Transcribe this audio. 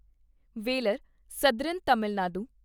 Vellore southern Tamil Nadu